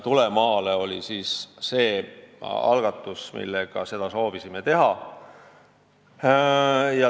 "Tule maale!" oli see algatus, millega soovisime olukorda muuta.